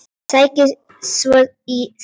Sækir svo í sig veðrið.